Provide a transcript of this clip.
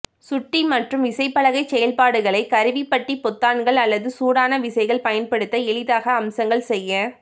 சுட்டி மற்றும் விசைப்பலகை செயல்பாடுகளை கருவிப்பட்டி பொத்தான்கள் அல்லது சூடான விசைகள் பயன்படுத்த எளிதாக அம்சங்கள் செய்ய